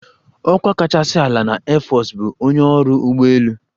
"Ọkwa kachasị ala na airforce bụ ""onye ọrụ ụgbọelu"""